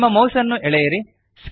ನಿಮ್ಮ ಮೌಸ್ ಅನ್ನು ಎಳೆಯಿರಿ